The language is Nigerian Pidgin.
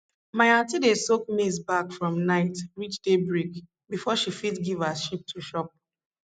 my aunty dey soak maize bark from night reach daybreak before she fit give her sheep to chop